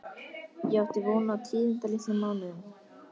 Ég átti von á tíðindalitlum mánuðum.